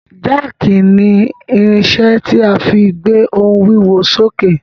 Jáàkì ni irinṣẹ́ tí a fí gbé ohun wíwo sókè.